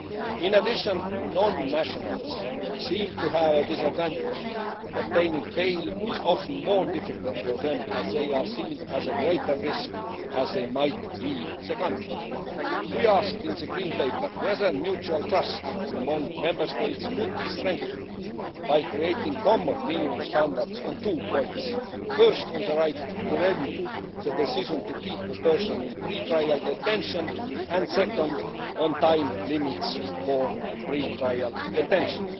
In addition, non nationals seem to have a disadvantage obtaining bail is often more difficult for them as they are seen as a greater risk as they might leave the country. We asked in the Green Paper whether mutual trust among Member States could be strengthened by creating common minimum standards on two points first, on the right to review the decision to keep a person in pre trial detention and, second, on time limits for pre trial detention.